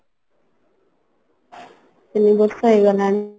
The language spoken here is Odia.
ତିନି ବର୍ଷ ହେଇଗଲାଣି